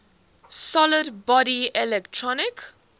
solid body electric